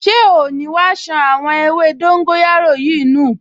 Ṣé oò ní wá ṣan àwọn ewé dóńgóyárò yìí nù!